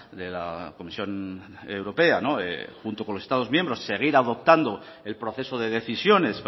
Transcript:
de la comisión europea junto con los estados miembros seguir adoptando el proceso de decisiones